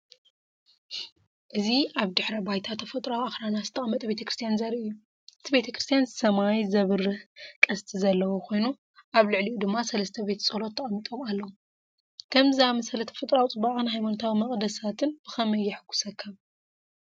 እዚ ኣብ ድሕረ ባይታ ተፈጥሮኣዊ ኣኽራናት ዝተቐመጠ ቤተ ክርስቲያን ዘርኢ እዩ። እቲ ቤተክርስትያን ሰማይ ዝበርህ ቀስት ዘለዎ ኮይኑ ኣብ ልዕሊኡ ድማ ሰለስተ ቤተ ጸሎት ተቐሚጦም ኣለዉ። ከምዚ ዝኣመሰለ ተፈጥሮኣዊ ጽባቐን ሃይማኖታዊ መቕደሳትን ብኸመይ የሐጕሰካ?